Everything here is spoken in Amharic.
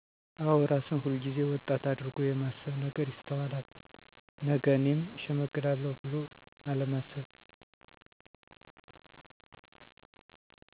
አወ እራስን ሁል ጊዜ ወጣት አድርጎ የማስብ ነገር ይስተዋላል ነገ እኔም እሸመግላለሁ ብሎ አለማሰብ